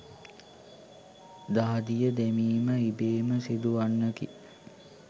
දහදිය දැමීම ඉබේම සිදුවන්නකි.